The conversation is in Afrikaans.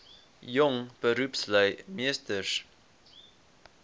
jong beroepslui meesters